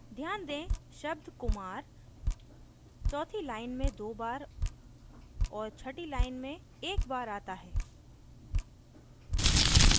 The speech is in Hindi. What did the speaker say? ध्यान दें शब्द kumar चौथी line में दो बार और छठी line में एक बार आता है